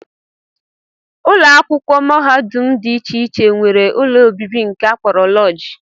Ụlọakwụkwọ mahadum dị iche iche nwere ụlọ obibi nke a kpọrọ lọọjị